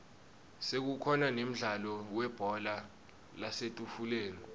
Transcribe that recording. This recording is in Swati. sekukhona nemdlalo webhola lasetafuleni